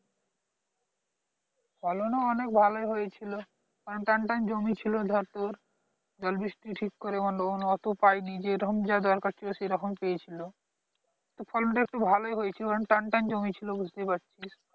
ফলন ও অনেক ভালোই হয়েছিল কারণ টানটান জমি ছিল ধর তোর জল বৃষ্টি ঠিক করে মানে ওতোও পায়নি যেরকম যা দরকার ছিল সেরকম পেয়েছিলো তো ফলনটা একটু ভালোই হয়েছিল কারণ টানটান জমি ছিল বুঝতেই পারছিস